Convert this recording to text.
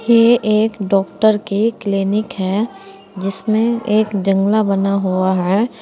ये एक डॉक्टर के क्लीनिक है जिसमें एक जंगला बना हुआ है।